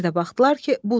Bir də baxdılar ki, budur.